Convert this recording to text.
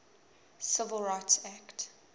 civil rights act